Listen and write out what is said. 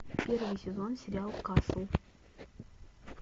первый сезон сериал касл